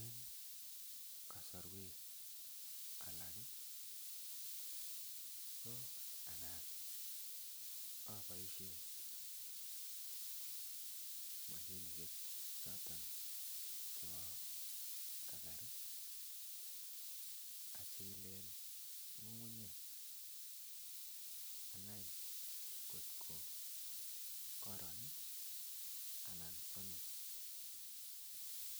En kosorwek alak ko anan oboishen moshinishek choton chebo kasari achilen ngungunyek anai kotko koron anan somis